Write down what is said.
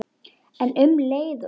En um leið og